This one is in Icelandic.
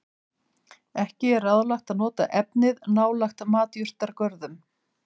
Ekki er ráðlegt að nota efnið nálægt matjurtagörðum.